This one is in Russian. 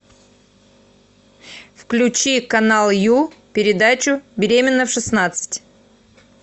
включи канал ю передачу беременна в шестнадцать